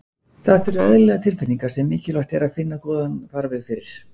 þetta eru eðlilegar tilfinningar sem mikilvægt er að finna góðan farveg fyrir